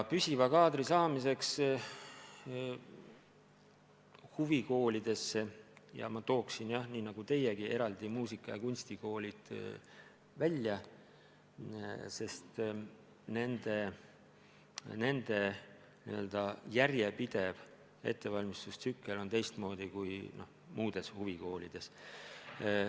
Püsiva kaadri saamine huvikoolidesse – ja ma tooksin nii nagu teiegi eraldi välja muusika- ja kunstikoolid – on keeruline, sest nende n-ö järjepidev ettevalmistustsükkel on teistsugune kui muudes huvikoolides.